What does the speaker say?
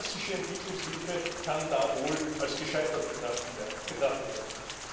Die klassische Entwicklungshilfe kann da wohl als gescheitert betrachtet werden.